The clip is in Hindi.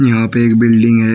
यहां पे एक बिल्डिंग है।